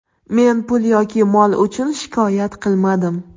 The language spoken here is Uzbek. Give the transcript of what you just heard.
Men pul yoki mol uchun shikoyat qilmadim.